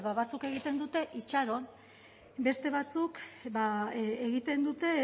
ba batzuk egiten dute itxaron beste batzuk ba egiten dute